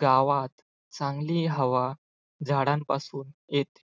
गावात चांगली हवा झाडांपासून येते.